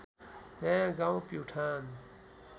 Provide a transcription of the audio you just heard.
नयाँ गाउँ प्युठान